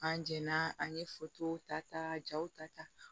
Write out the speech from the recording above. An jɛnna an ye ta ta jaw ta ta